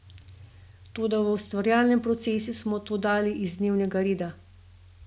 Toda v ustvarjalnem procesu smo to dali iz dnevnega reda.